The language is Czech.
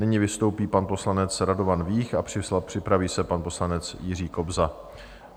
Nyní vystoupí pan poslanec Radovan Vích a připraví se pan poslanec Jiří Kobza.